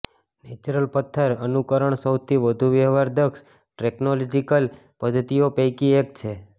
natural પથ્થર અનુકરણ સૌથી વધુ વ્યવહારદક્ષ ટેકનોલોજીકલ પદ્ધતિઓ પૈકી એક છે